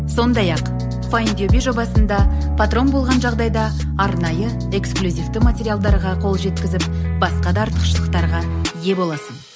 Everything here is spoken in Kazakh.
сондай ақ файндюби жобасында патрон болған жағдайда арнайы эксклюзивті материалдарға қол жеткізіп басқа да артықшылықтарға ие боласың